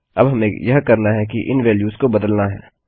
अब हमें यह करना है कि इन वेल्यूस को बदलना हैं